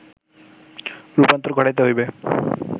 রূপান্তর ঘটাইতে হইবে